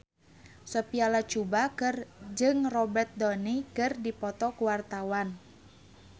Sophia Latjuba jeung Robert Downey keur dipoto ku wartawan